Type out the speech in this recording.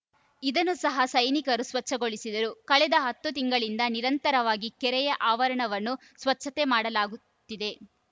ಇದನ್ನ ಸಹ ಸೈನಿಕರು ಸ್ವಚ್ಛಗೊಳಿಸಿದರು ಕಳೆದ ಹತ್ತು ತಿಂಗಳಿಂದ ನಿರಂತರವಾಗಿ ಕೆರೆಯ ಆವರಣವನ್ನು ಸ್ವಚ್ಛತೆ ಮಾಡಲಾಗುತ್ತಿದೆ